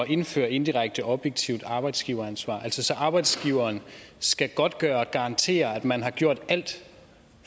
indføre indirekte objektivt arbejdsgiveransvar altså så arbejdsgiveren skal godtgøre og garantere at man har gjort alt